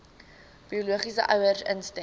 biologiese ouers instem